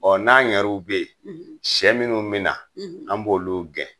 Ɔɔ n'an yɛru bɛeyen ,sɛ munnu min na, an b'olu gɛn.